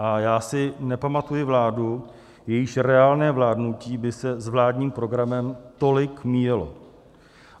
A já si nepamatuji vládu, jejíž reálné vládnutí by se s vládním programem tolik míjelo.